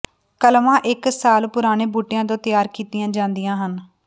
ਕਲਮਾਂ ਇਕ ਸਾਲ ਪੁਰਾਣੇ ਬੂਟਿਆਂ ਤੋਂ ਤਿਆਰ ਕੀਤੀਆਂ ਜਾਂਦੀਆ ਹਨ